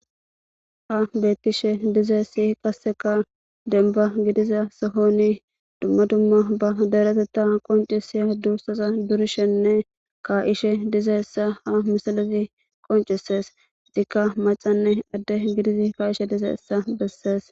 Haysan betishe dizaysi qaseka demba gidiza sohon duma duma ba deretha qoncisiza durishene ka'ishe dizaysa ha misilezi qoncises etika macane ade gididi ka'ishe dizaysa besses